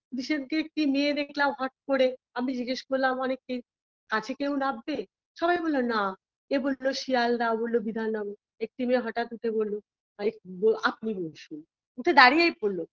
সেদিনকে একটি মেয়ে দেখলাম হট করে আমি জিজ্ঞেস করলাম অনেককেই কাছে কেউ নামবে সবাই বলল না এ বললো শিয়ালদা ও বলল বিধান নগর একটি মেয়ে হঠাৎ উঠে বলল আপনি বসুন উঠে দাঁড়িয়েই পরল